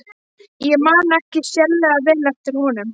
Ég man ekki sérlega vel eftir honum.